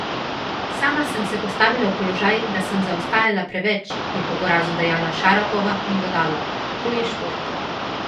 Sama sem se postavila v položaj, da sem zaostajala preveč,' je po porazu dejala Šarapova in dodala: 'To je šport.